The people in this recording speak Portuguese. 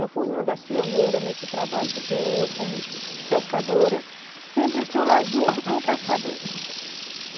Eu fui uma das pioneiras nesse trabalho, porque eu, como pescadora, sempre estou lá junto com o pescador.